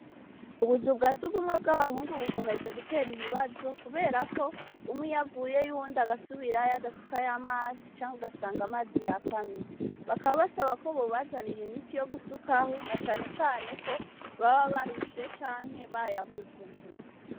Ubuzu bwa sugumwe bw'abahungu bukomeje gutera ibibazo kuberako umwe iyo avuyeyo uwundi agasubirayo adusakayo amazi canke ugasanga amazi yakamye bakaba basaba ko bobazanira imiti yogusukaho na cane cane ko baba barushe canke bayabuze.